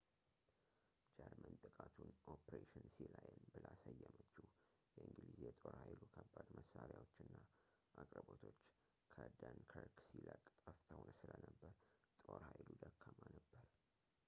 ጀርመን ጥቃቱን ኦፕሬሽን ሲላየን ብላ ሰየመችው የእንግሊዝ የጦር ኃይሉ ከባድ መሳሪያዎች እና አቅርቦቶች ከደንከርክ ሲለቅ ጠፍተው ስለነበር ጦር ኃይሉ ደካማ ነበር